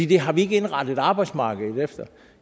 det har vi ikke indrettet arbejdsmarkedet efter